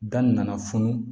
Da nana funu